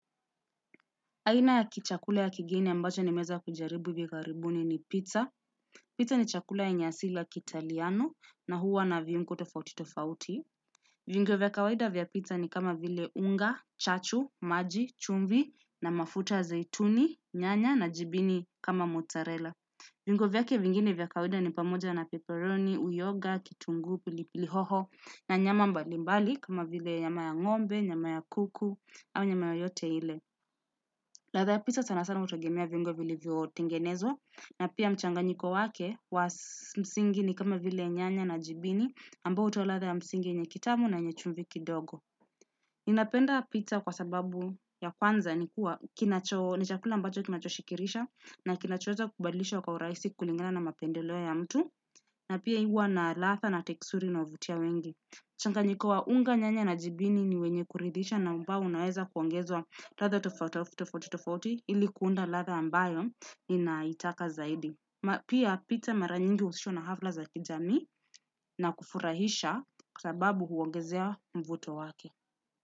Aina ya kichakula ya kigeni ambacho nimeweza kujaribu hivi karibuni ni pizza. Pizza ni chakula yenye asili ya kiitaliano na huwa na viungo tofauti tofauti. Viungo vya kawaida vya pizza ni kama vile unga, chachu, maji, chumvi na mafuta ya zeituni, nyanya na jibini kama mozzarella. Viungo vyake vingine vya kawaida ni pamoja na peparoni, uyoga, kitunguu, pilipili hoho na nyama mbali mbali kama vile yama ya ng'ombe, nyama ya kuku au nyama yoyote ile. Ladha ya pizza sana sana hutegemea viungo vilivyotengenezwa na pia mchanganyiko wake was msingi ni kama vile nyanya na jibini ambao hutoa ladha ya msingi yenye kitamu na yenye chumvi kidogo. Ninapenda pizza kwa sababu ya kwanza ni kuwa kinacho, ni chakula ambacho kinachoshikirisha na kinachoweza kubadilisha kwa urahisi kulingana na mapendeleo ya mtu na pia ihuwa na latha na teksuri inaovutia wengi. Changanyiko wa unga nyanya na jibini ni wenye kuridhisha na ambao unaweza kuongezwa ladha tofaut tafua tofauti tofauti ili kuunda ladha ambayo inaitaka zaidi ma. Pia pizza mara nyingi uhusishwa na hafla za kijami na kufurahisha kwa sababu huongezea mvuto wake.